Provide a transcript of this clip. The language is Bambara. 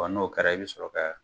Wa n'o kɛra i bɛ sɔrɔ ka